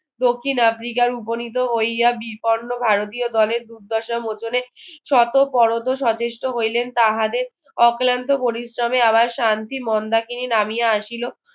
দক্ষিণ আফ্রিকার উপনীত হইয়া বিপন্ন ভারতীয় দলের দুর্দশা মোচনে শত সচেষ্ট হইলেন তাহারে অক্লান্ত প্রতিশ্রমে আবার শান্তি নামিয়া আসিল